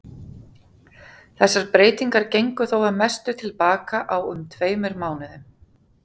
Þessar breytingar gengu þó að mestu til baka á um tveimur mánuðum.